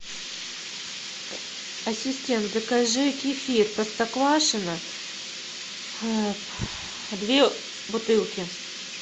ассистент закажи кефир простоквашино две бутылки